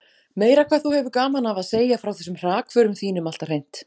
Meira hvað þú hefur gaman af að segja frá þessum hrakförum þínum alltaf hreint!